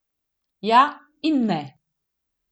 Ja in ne.